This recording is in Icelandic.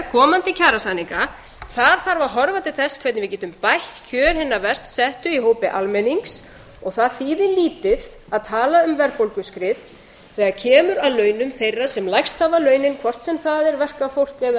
komandi kjarasamninga þar þarf að horfa til þess hvernig við getum bætt kjör hinna verst settu í hópi almennings og það þýðir lítið að tala um verðbólguskrið þegar kemur að launum þeirra sem lægst hafa launin hvort sem það er verkafólk eða